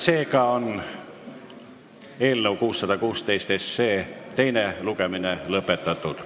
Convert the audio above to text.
Seega on eelnõu 616 teine lugemine lõpetatud.